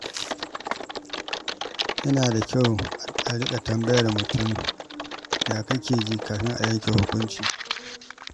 Yana da kyau a riƙa tambayar mutum “yaya kake ji?” kafin a yanke hukunci.